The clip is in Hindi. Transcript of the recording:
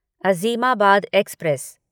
अज़ीमाबाद एक्सप्रेस